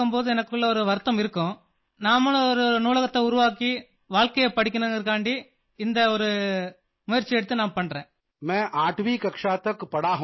पोन मरियप्पन के उत्तर का हिंदी अनुवाद मैं आठवीं कक्षा तक पढ़ा हूँ